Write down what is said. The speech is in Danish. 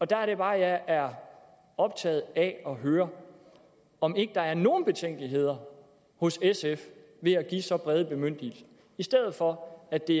der er det bare at jeg er optaget af at høre om ikke der er nogen betænkeligheder hos sf ved at give så brede bemyndigelser i stedet for at det